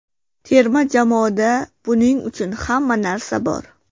Terma jamoada buning uchun hamma narsa bor.